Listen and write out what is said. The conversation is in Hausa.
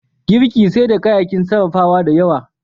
Girki sai da kayayyakin sarrafawa da yawa.